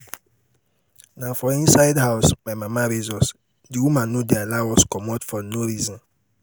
na for inside house my mama raise us the woman no dey allow us comot for no reason